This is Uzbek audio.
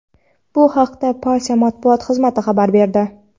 Bu haqda partiya Matbuot xizmati xabar berdi.